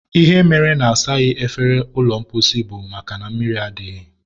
ihe mere na-asaghị efere ụlọ mposi bụ makana mmiri adịghị.